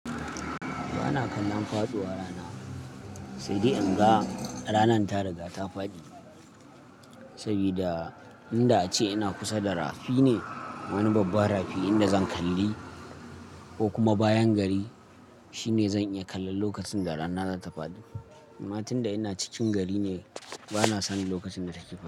Ba na kallon faɗuwar rana, sai dai in ga ranar ta riga ta faɗi. Saboda inda ace ina kusa da rafi ne, wani babban rafi inda zan kalli ko kuma bayan gari shine zan iya kallon lokacin da rana za ta faɗi. Amma tunda ina cikin gari ne, ba na sani lokacin da take faɗi.